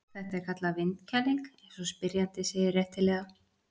Þetta er kallað vindkæling eins og spyrjandi segir réttilega.